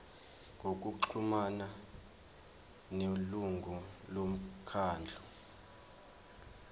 ngokuxhumana nelungu lomkhandlu